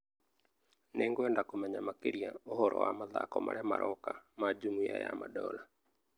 Nĩngwenda kũmenya makĩria ũhoro wa mathako marĩa maroka ma jumuiya ya madola